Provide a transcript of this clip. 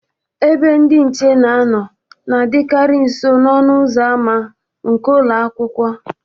Ebe ndị nche na-anọ na-adịkarị nso n'ọnụ ụzọ ama nke ụlọ akwụkwọ.